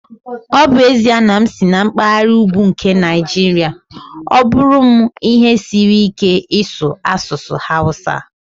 Ọ bụ ezie na m si na mpaghara ugwu nke Nigeria, ọ bụrụ m ihe siri ike ịsu asụsụ Hausa.